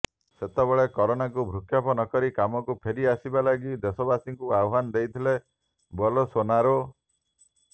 ସେତେବେଳେ କରୋନାକୁ ଭୃକ୍ଷେପ ନକରି କାମକୁ ଫେରି ଆସିବା ଲାଗି ଦେଶବାସୀଙ୍କୁ ଆହ୍ୱାନ ଦେଇଥିଲେ ବୋଲସୋନାରୋ